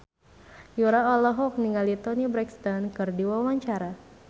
Yura olohok ningali Toni Brexton keur diwawancara